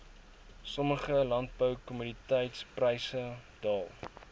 sommige landboukommoditetispryse daal